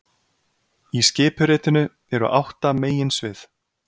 Í skipuritinu eru átta meginsvið